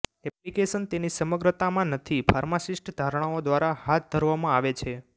application તેની સમગ્રતામાં નથી ફાર્માસિસ્ટ ધારણાઓ દ્વારા હાથ ધરવામાં આવે છે